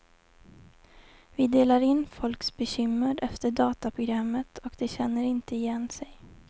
Vi delar in folks bekymmer efter dataprogrammet, och de känner inte igen sig.